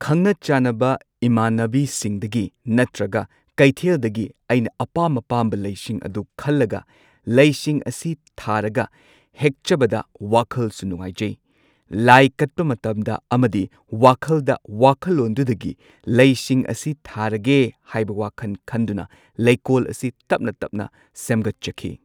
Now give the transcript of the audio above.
ꯈꯪꯅ ꯆꯥꯟꯅꯕ ꯏꯃꯥꯟꯅꯕꯤꯁꯤꯡꯗꯒꯤ ꯅꯠꯇ꯭ꯔꯒ ꯀꯩꯊꯦꯜꯗꯒꯤ ꯑꯩꯅ ꯑꯄꯥꯝ ꯑꯄꯥꯝꯕ ꯂꯩꯁꯤꯡ ꯑꯗꯨ ꯈꯜꯂꯒ ꯂꯩꯁꯤꯡ ꯑꯁꯤ ꯊꯥꯔꯒ ꯍꯦꯛꯆꯕꯗ ꯋꯥꯈꯜꯁꯨ ꯅꯨꯡꯉꯥꯏꯖꯩ꯫ ꯂꯥꯏ ꯀꯠꯄ ꯃꯇꯝꯗ ꯑꯃꯗꯤ ꯋꯥꯈꯜꯗ ꯋꯥꯈꯜꯂꯣꯟꯗꯨꯗꯒꯤ ꯂꯩꯁꯤꯡ ꯑꯁꯤ ꯊꯥꯔꯒꯦ ꯍꯥꯏꯕ ꯋꯥꯈꯟ ꯈꯟꯗꯨꯅ ꯂꯩꯀꯣꯜ ꯑꯁꯤ ꯇꯞꯅ ꯇꯞꯅ ꯁꯦꯝꯒꯠꯆꯈꯤ꯫